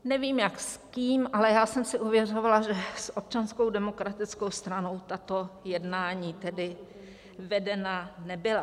Nevím jak, s kým, ale já jsem si ověřovala, že s Občanskou demokratickou stranou tato jednání tedy vedena nebyla.